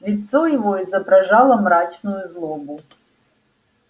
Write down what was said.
лицо его изображало мрачную злобу